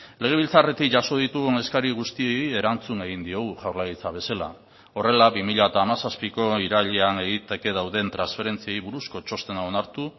legebiltzarretik jaso ditugun eskari guztiei erantzun egin diogu jaurlaritza bezala horrela bi mila hamazazpiko irailean egiteke dauden transferentziei buruzko txostena onartu